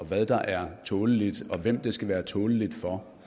hvad der er tåleligt og hvem det skal være tåleligt for